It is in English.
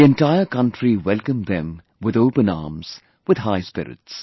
The entire country welcomed them with open arms, with high spirits